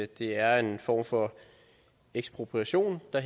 det er en form for ekspropriation der